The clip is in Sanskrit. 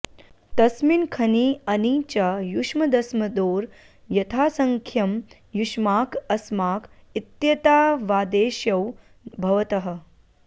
तस्मिन् खञि अणि च युष्मदस्मदोर् यथासङ्ख्यं युष्माक अस्माक इत्येतावादेशौ भवतः